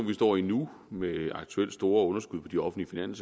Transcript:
vi står i nu med aktuelt store underskud på de offentlige